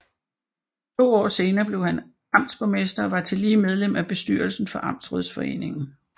To år senere blev han amtsborgmester og var tillige medlem af bestyrelsen for Amtsrådsforeningen